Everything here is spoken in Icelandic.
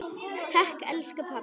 Takk elsku pabbi.